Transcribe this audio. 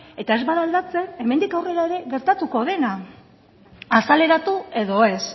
eta ez bada aldatzen hemendik aurrera ere gertatuko dena azaleratu edo ez